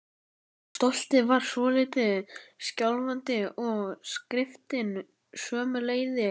Stoltið var svolítið skjálfandi og skriftin sömuleiðis.